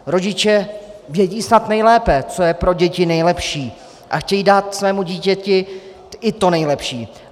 Rodiče snad vědí nejlépe, co je pro děti nejlepší, a chtějí dát svému dítěti i to nejlepší.